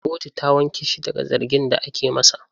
Kotu ta wanke shi daga zargin da ake masa.